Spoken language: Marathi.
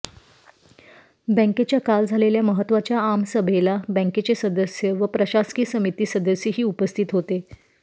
बँकेच्या काल झालेल्या महत्त्वाच्या आमसभेला बँकेचे सदस्य व प्रशासकीय समिती सदस्यही उपस्थित होते